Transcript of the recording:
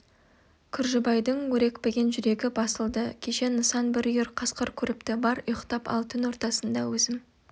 күржібайдың өрекпіген жүрегі басылды кеше нысан бір үйір қасқыр көріпті бар ұйықтап ал түн ортасында өзім